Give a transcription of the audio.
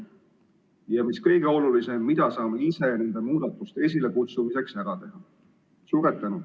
Ja mis kõige olulisem: mida saame ise nende muudatuste esilekutsumiseks ära teha?